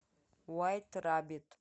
вайт рабит